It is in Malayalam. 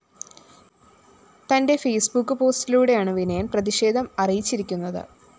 തന്റെ ഫെയ്‌സ്ബുക്ക് പോസ്റ്റിലൂടെയാണ് വിനയന്‍ പ്രതിഷേധം അറിയിച്ചിരിക്കുന്നത്